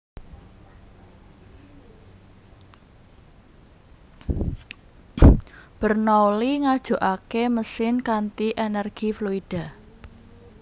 Bernoulli Ngajukake mesin kanthi energi fluida